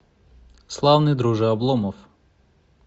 славный друже обломов